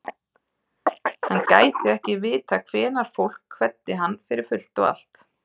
Hann gæti ekki vitað hvenær fólk kveddi hann fyrir fullt og allt.